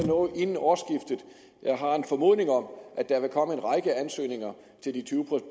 noget inden årsskiftet jeg har en formodning om at der vil komme en række ansøgninger til tyve